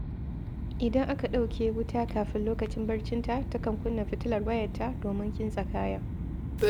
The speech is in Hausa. Idan aka ɗauke wuta kafin lokacin barcinta, takan kunna fitilar wayarta domin kintsa kaya.